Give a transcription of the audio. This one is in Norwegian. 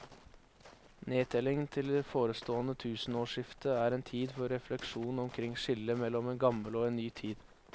Nedtellingen til det forestående tusenårsskifte er en tid for refleksjon omkring skillet mellom en gammel og en ny tid.